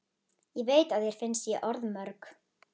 Ég veit að þér finnst ég orðmörg.